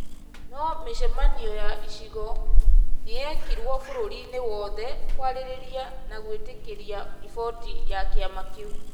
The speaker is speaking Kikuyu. na mĩcemanio ya icigo nĩ yekirwo bũrũriinĩ wothe kwarĩrĩria na gwĩtĩkĩria riboti ya kĩama kĩu.